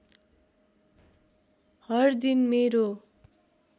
हर दिन मेरो